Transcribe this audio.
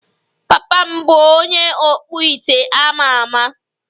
Papa m bụ onye ọkpụite a ma ama